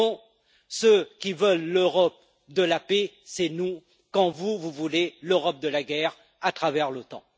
au fond, ceux qui veulent l'Europe de la paix, c'est nous, quand vous, vous voulez l'Europe de la guerre à travers l'OTAN.